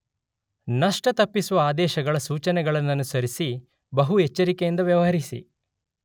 ನಷ್ಟ ತಪ್ಪಿಸುವ ಆದೇಶಗಳ ಸೂಚನೆಗಳನ್ನನುಸರಿಸಿ ಬಹು ಎಚ್ಚರಿಕೆಯಿಂದ ವ್ಯವಹರಿಸಿ